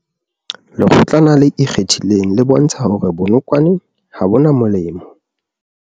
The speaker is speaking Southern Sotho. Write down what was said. Lekgotlana le ikgethileng le bontsha hore bonokwane ha bo na molemo